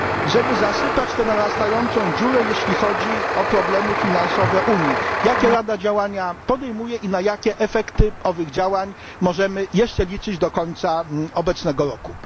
żeby zasypać tę narastającą dziurę, jeśli chodzi o problemy finansowe Unii? Jakie Rada podejmuje działania i na jakie efekty owych działań możemy jeszcze liczyć do końca obecnego roku?